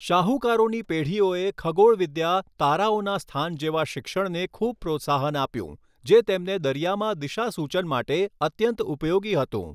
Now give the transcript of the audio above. શાહુકારોની પેઢીઓએ ખગોળવિદ્યા તારાઓના સ્થાન જેવા શિક્ષણને ખૂબ પ્રોત્સાહન આપ્યું જે તેમને દરીયામાં દિશાસૂચન માટે અત્યંત ઉપયોગી હતું.